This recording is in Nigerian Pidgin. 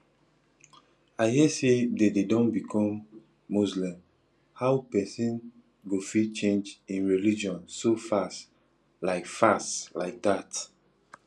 i hear say dede don become muslim how person go fit change im religion so fast like fast like that